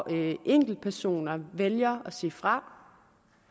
at enkeltpersoner vælger at sige fra